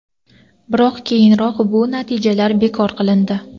Biroq keyinroq bu natijalar bekor qilindi.